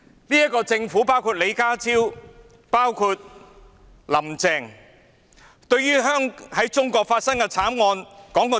"這個政府包括李家超和"林鄭"在內，對於在中國發生的慘案說過些甚麼？